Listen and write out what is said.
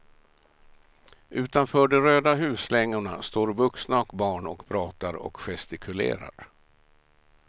Utanför de röda huslängorna står vuxna och barn och pratar och gestikulerar.